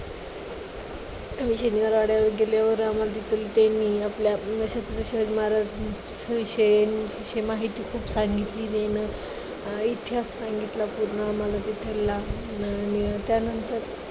आम्ही शनिवारवाड्यावर गेल्यावर आम्हाला तिथे मी शिवाजी महाराज विषयी त्यांची माहिती खूप सांगितली अं इतिहास सांगितला पूर्ण आम्हाला तिथला. आणि त्यानंतर